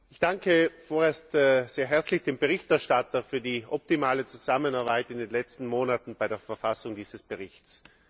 Ich danke vorerst sehr herzlich dem Berichterstatter für die optimale Zusammenarbeit in den letzten Monaten bei der Verfassung dieses Berichts.